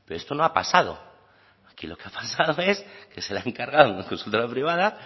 pero esto no ha pasado aquí lo que ha pasado es que se le ha encargado a una consultora privada